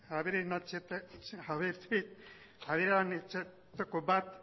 aberatsenetariko bat